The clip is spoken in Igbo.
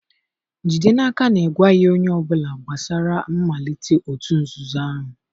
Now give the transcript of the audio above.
jide n'aka na ị gwaghị onye ọ bụla gbasara mmalite òtù nzuzo ahụ!